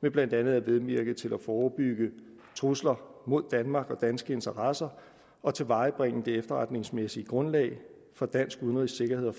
med blandt andet at medvirke til at forebygge trusler mod danmark og danske interesser og tilvejebringe det efterretningsmæssige grundlag for dansk udenrigs sikkerheds